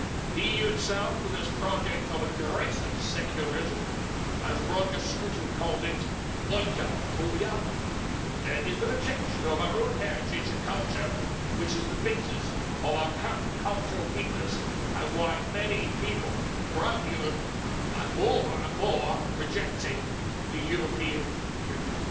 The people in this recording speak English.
The EU itself, with its project of aggressive secularism as Roger Scruton called it, oikophobia is the rejection of our own heritage and culture, which is the basis of our current cultural weakness and why many people throughout Europe are more and more rejecting the European Union.